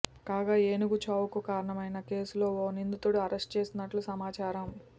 కాగా ఏనుగు చావుకు కారణమైన కేసులో ఓ నిందితుడిని అరెస్ట్ చేసినట్లు సమాచారం